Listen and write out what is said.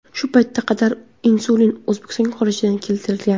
Shu paytga qadar insulin O‘zbekistonga xorijdan keltirilgan.